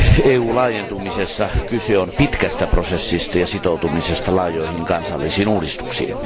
EU laajentumisessa kyse on pitkästä prosessista ja sitoutumisesta laajoihin kansallisiin uudistuksiin.